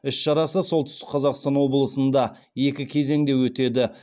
іс шарасы сқолтүстік қазақстан облысында екі кезеңде өтеді